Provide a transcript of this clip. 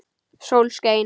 Sól skein.